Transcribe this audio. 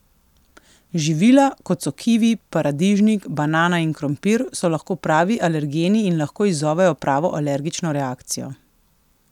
Živila, kot so kivi, paradižnik, banana in krompir, so lahko pravi alergeni in lahko izzovejo pravo alergično reakcijo.